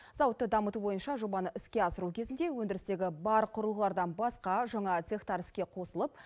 зауытты дамыту бойынша жобаны іске асыру кезінде өндірістегі бар құрылғылардан басқа жаңа цехтар іске қосылып